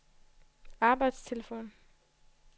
arbejdstelefon